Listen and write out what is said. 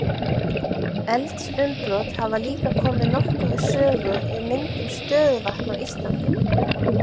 Eldsumbrot hafa líka komið nokkuð við sögu við myndun stöðuvatna á Íslandi.